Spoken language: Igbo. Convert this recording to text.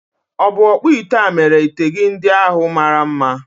Ọ̀ bụ ọkpụite a mere ite gị ndị ahu mara mma?